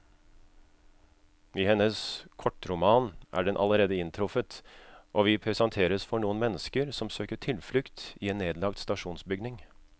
I hennes kortroman er den allerede inntruffet, og vi presenteres for noen mennesker som søker tilflukt i en nedlagt stasjonsbygning.